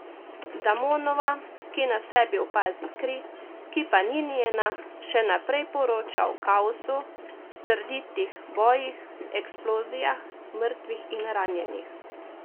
Damonova, ki na sebi opazi kri, ki pa ni njena, še naprej poroča o kaosu, srditih bojih, eksplozijah, mrtvih in ranjenih ...